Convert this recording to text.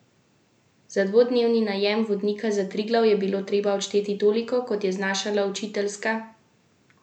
Za dvodnevni najem vodnika za Triglav je bilo treba odšteti toliko, kot je znašala učiteljska plača.